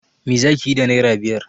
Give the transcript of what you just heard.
Me za ki yi da naira biyar?